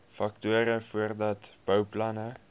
faktore voordat bouplanne